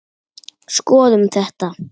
Skoðum þetta.